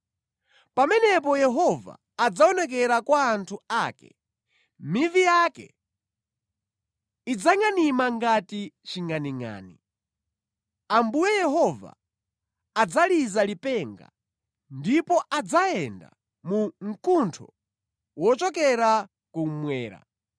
Pamenepo Yehova adzaonekera kwa anthu ake; mivi yake idzangʼanima ngati chingʼaningʼani. Ambuye Yehova adzaliza lipenga; ndipo adzayenda mu mkuntho wochokera kummwera,